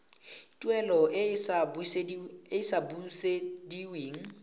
tuelo e e sa busediweng